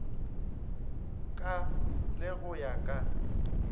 ka le go ya ka